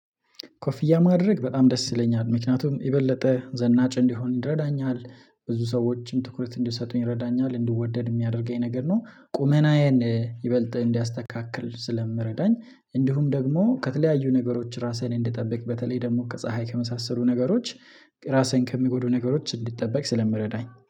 ኮፊያ ማድረግ በጣም ደስ ይለኛል ምክንያቱም የበለጠ ዘናጭ እንዲሆን ይረዳኛል ብዙ ሰዎችም ትኩረት እንዲሰጡኝ ይረዳኛል እንዲወደድ የሚያደርገኝ ነገር ነው። ቁመናዬን ይበልጥ እንዲያስተካክል ስለምረዳኝ እንዲሁም ደግሞ ከተለያዩ ነገሮች ራሴን እንድጠብቅ በተለይ ደግሞ ከፀሀይ ከመሳሰሉ ነገሮች ራሴን ከሚጎዱ ነገሮች እንዲጠበቅ ስለምረዳኝ